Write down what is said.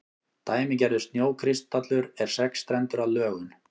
dæmigerður snjókristallur er sexstrendur að lögun